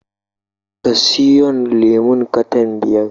Ka siyon lemon katan biyar